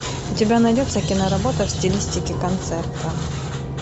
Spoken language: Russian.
у тебя найдется киноработа в стилистике концерта